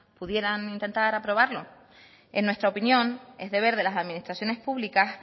pudieran intentar aprobarlo en nuestra opinión es deber de las administraciones públicas